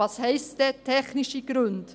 Was heisst denn «technische Gründe»?